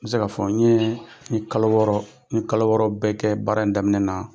N bɛ se k'a fɔ n ye n ye kalo wɔɔrɔ n ye kalo wɔɔrɔ bɛɛ kɛ baara in daminɛ na.